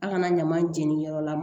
A kana ɲama jeniyɔrɔ la